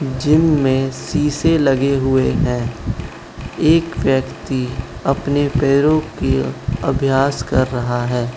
Gym में शीशे लगे हुए हैं एक व्यक्ति अपने पैरों की अभ्यास कर रहा है।